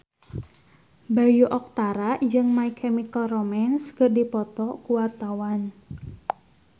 Bayu Octara jeung My Chemical Romance keur dipoto ku wartawan